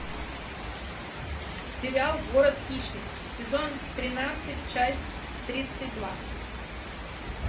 сериал город хищниц сезон тринадцать часть тридцать два